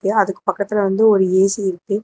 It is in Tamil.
அதுக்கு பக்கத்துல வந்து ஒரு ஏ_சி இருக்கு.